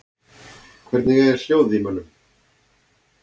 Hvernig er hljóðið í mönnum?